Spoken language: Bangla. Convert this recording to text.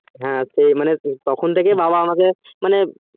হ্যাঁ তো তখন থেকে বাবা আমাকে মানে